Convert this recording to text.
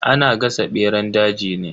Ana gasa beran daji ne.